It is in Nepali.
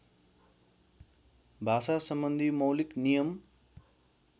भाषासम्बन्धी मौलिक नियम